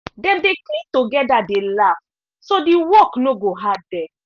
dem dey clean together dey laugh so de work no go hard dem.